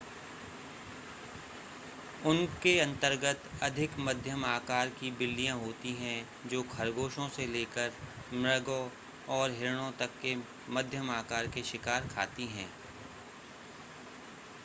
उनके अंतर्गत अधिक मध्यम आकार की बिल्लियां होती हैं जो खरगोशों से लेकर मृगों और हिरणों तक के मध्यम आकार के शिकार खाती हैं